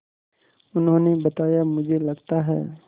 उन्होंने बताया मुझे लगता है